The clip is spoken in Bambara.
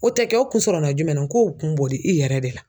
O tɛ kɛ o kun sɔrɔla jumɛn na k'o kun bɔr'i yɛrɛ de la.